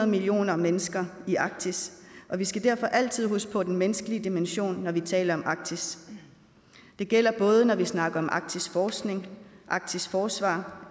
millioner mennesker i arktis og vi skal derfor altid huske på den menneskelige dimension når vi taler om arktis det gælder både når vi snakker om arktisk forskning arktisk forsvar